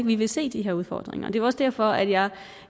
vi vil se de her udfordringer det er også derfor at jeg